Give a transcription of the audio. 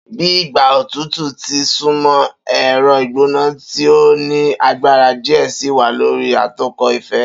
Bi igba otutu ti n sunmọ, ẹrọ igbona ti o ni agbara diẹ sii wa lori atokọ ifẹ.